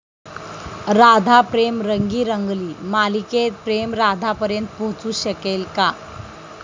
राधा प्रेम रंगी रंगली' मालिकेत प्रेम राधापर्यंत पोहचू शकेल का?